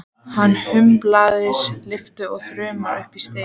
Hann hundsaði lyftuna og þrammaði upp stigana.